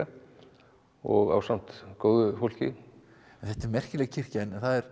og ásamt góðu fólki þetta er merkileg kirkja en það er